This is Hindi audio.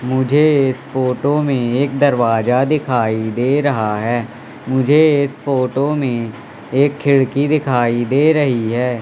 मुझे फोटो में एक दरवाजा दिखाई दे रहा है मुझे एक फोटो में एक खिड़की दिखाई दे रही है।